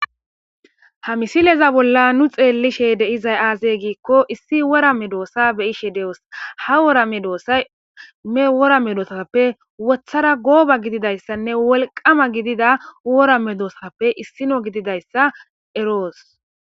ha misileza bolla nu xeellishe de7izay aazey giikko issi wora me doossa beyishe de7os ha wora me doossay me wora medoosappe wothara gooba gididayssanne wolqama gidida wora medoossappe issino gididayssa eroos